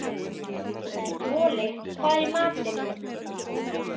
Moli, hvað er í matinn?